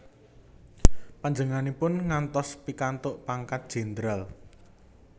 Panjenenganipun ngantos pikantuk pangkat jendral